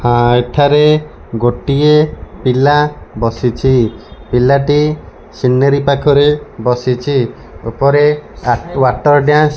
ଆ ଏଠାରେ ଗୋଟିଏ ପିଲା ବସିଛି। ପିଲଟି ସିନେରି ପାଖରେ ବସିଛି। ଓପରେ ଆ ୱାଟର ଡ୍ୟାନ୍ସ --